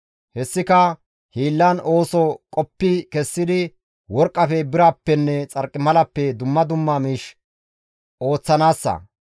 Hessika hiillan ooso qoppi kessidi worqqafe, birappenne xarqimalappe dumma dumma miish ooththanaassa.